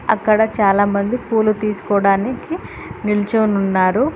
అక్కడ చాలామంది పూలు తీసుకోవడానికి నిల్చో ఉన్నారు